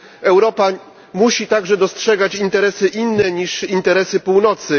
Europa musi także dostrzegać interesy inne niż interesy Północy.